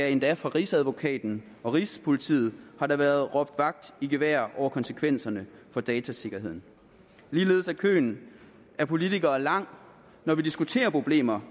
endda fra rigsadvokaten og rigspolitiet har der været råbt vagt i gevær over konsekvenserne for datasikkerheden ligeledes er køen af politikere lang når vi diskuterer problemer